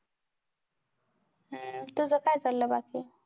तुझ काय चाललंय बाकी